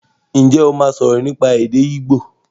Ǹjẹ́ o máa sọ̀rọ̀ nípa èdè igbo?